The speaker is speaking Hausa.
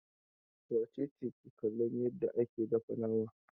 Wace ce ke kallon yarda ake dafa nama?